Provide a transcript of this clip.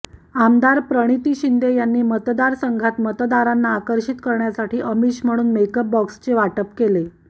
आमदार प्रणिती शिंदे यांनी मतदारसंघात मतदारांना आकर्षित करण्यासाठी आमिष म्हणून मेकअप बॉक्सचे वाटप केले